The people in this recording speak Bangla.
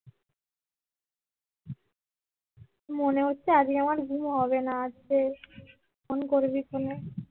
মনে হচ্ছে আজকে আমার ঘুম হবে না আজকে ফোন করবি কনে